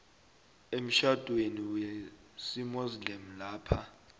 emtjhadweni wesimuslimu lapha